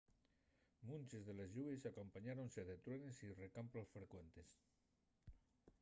munches de les lluvies acompañáronse de truenes y rescamplos frecuentes